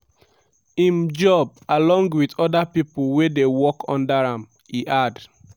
im job along wit oda pipo wey dey work under am" e add.